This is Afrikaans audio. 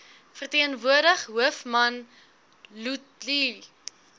verteenwoordig hoofman luthuli